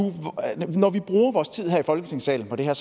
når vi nu bruger vores tid her i folketingssalen på det her